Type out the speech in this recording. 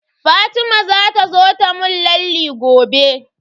Fatima za ta zo ta mun lalle gobe.